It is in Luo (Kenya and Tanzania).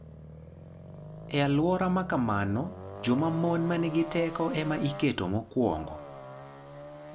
E alwora ma kamano, joma mon ma nigi teko ema iketo mokwongo.